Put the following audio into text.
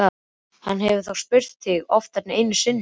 Hann hefur þá spurt þig oftar en einu sinni?